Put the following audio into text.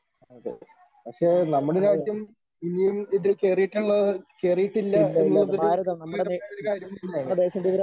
അതെ പക്ഷേ നമ്മുടെ രാജ്യം ഇനിയും ഇതിൽ കേറിയിട്ടുള്ളത് കേറിയിട്ടില്ല എന്നുള്ളതൊരു